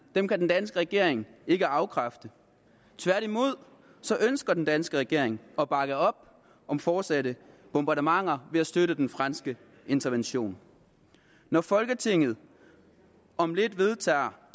den danske regering ikke afkræfte tværtimod ønsker den danske regering at bakke op om fortsatte bombardementer ved at støtte den franske intervention når folketinget om lidt vedtager